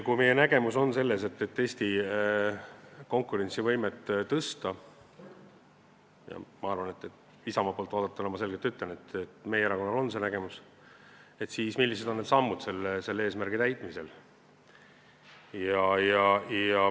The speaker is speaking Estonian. Kui meie nägemus on see, et Eesti konkurentsivõimet tuleb tõsta – Isamaa poolt vaadatuna ma ütlen, et meie erakonnal on see nägemus –, siis millised on sammud selle eesmärgi täitmiseks?